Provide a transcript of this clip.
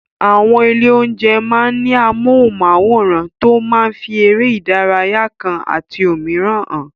Àwọn ilé-oúnjẹ máa ń ní amóhùnmáwòràn tó máa ń fi eré ìdárayá kan àti òmíràn hàn.